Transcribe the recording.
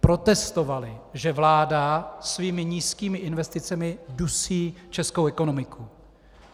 Protestovali, že vláda svými nízkými investicemi dusí českou ekonomiku.